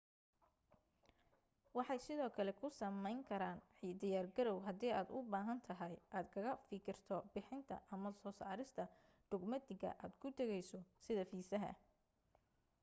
waxay sidoo kale kuu samayn karaan diyaar garaw hadii aad u baahantahay aad kaga fikirto bixinta ama soo saarista dhugmatiga aad ku tagayso sida fiisaha